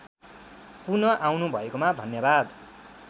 पुनःआउनु भएकोमा धन्यवाद